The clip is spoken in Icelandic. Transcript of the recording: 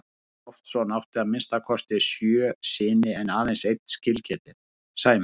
Jón Loftsson átti að minnsta kosti sjö syni en aðeins einn skilgetinn, Sæmund.